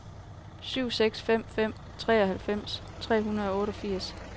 syv seks fem fem treoghalvfems tre hundrede og otteogfirs